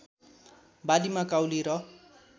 बालीमा काउली र